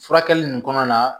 Furakɛli nin kɔnɔna na